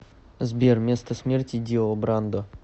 сбер место смерти дио брандо